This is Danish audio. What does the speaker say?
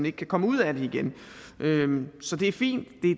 ikke kan komme ud af det igen så det er fint